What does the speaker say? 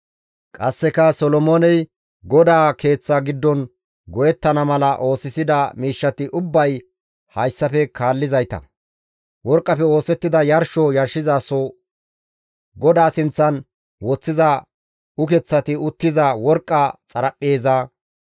Qasseka Solomooney GODAA Keeththa giddon go7ettana mala oosisida miishshati ubbay hayssafe kaallizayta. Worqqafe oosettida yarsho yarshizaso, GODAA sinththan woththiza ukeththati uttiza worqqa xaraphpheeza,